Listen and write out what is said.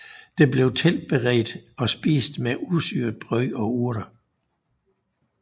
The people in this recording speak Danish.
Det blev tilberedt og spist med usyret brød og urter